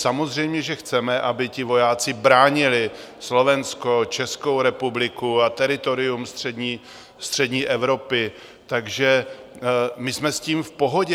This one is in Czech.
Samozřejmě že chceme, aby ti vojáci bránili Slovensko, Českou republiku a teritorium střední Evropy, takže my jsme s tím v pohodě.